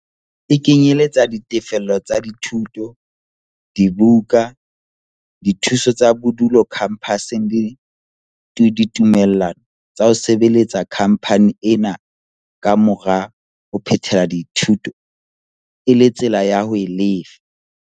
E kenyeletsa ditefello tsa dithuto, dibuka, dithuso tsa bodulo khampaseng le ditumellano tsa ho sebeletsa khampani ena ka mora ho phethela dithuto e le tsela ya ho e lefa.